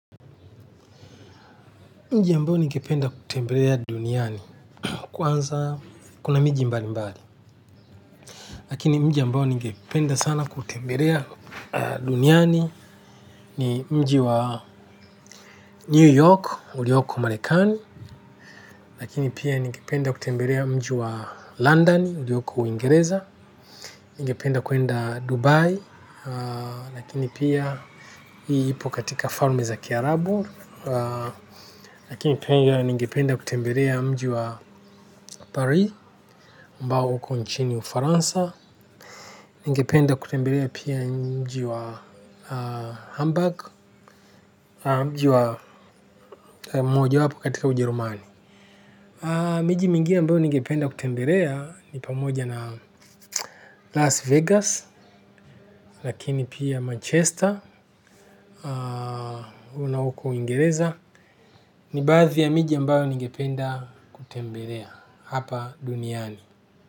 Mji ambao ningependa kutembelea duniani, kwanza kuna miji mbalimbali. Lakini mji ambao ningependa sana kutembelea duniani, ni mji wa New York, ulioko marekani. Lakini pia ningependa kutembelea mji wa London, ulioko ingereza. Ningependa kuenda Dubai, lakini pia hii ipo katika farme za kiarabu. Lakini pia ningependa kutembelea mji wa Paris ambao uko nchini ufaransa. Ningependa kutembelea pia mji wa Hamburg. Mji wa majo wapo katika Ujerumani. Miji mingine ambayo ningependa kutembelea ni pamoja na Las Vegas. Lakini pia Manchester. Una huko ingereza. Ni baadhi ya miji ambayo ningependa kutembelea. Hapa duniani.